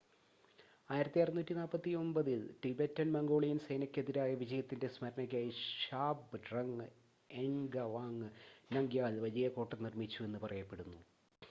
1649-ൽ Tibetan Mongolian സേനയ്‌ക്കെതിരായ വിജയത്തിൻ്റെ സ്‌മരണയ്ക്കായി ഷാബ്ഡ്രങ് എൻഗവാങ് നംഗ്യാൽ വലിയ കോട്ട നിർമ്മിച്ചുവെന്ന് പറയപ്പെടുന്നു